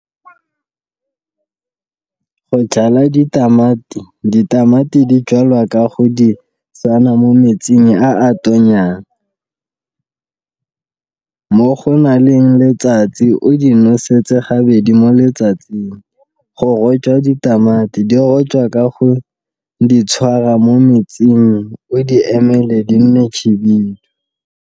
Go jala ditamati, ditamati di jalwa ka go di tsena mo metsing a a tonyang, mo go naleng letsatsi, o di nosetse gabedi mo letsatsing, go rojwa ditamati di rojwa ka go di tshwara mo metsing o di emele di nne .